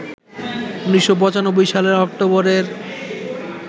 ১৯৯৫ সালের অক্টোবরের